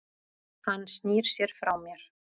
Hann snýr sér frá mér.